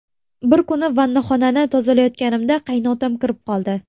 Bir kuni vannaxonani tozalayotganimda qaynotam kirib qoldi.